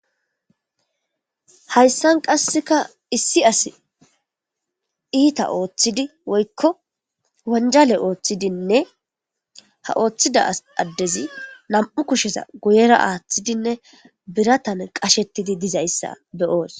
hayssan qasseka issi as iita ooththidi woykko wanjale ooththidinne ha ooththida addezi nam7u kusheza goyera aaththidinne biratan qashettidi dizayssa beyoos